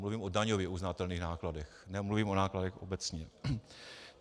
Mluvím o daňově uznatelných nákladech, nemluvím o nákladech obecně.